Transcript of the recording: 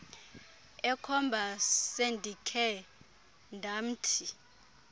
ekhomba sendikhe ndamthi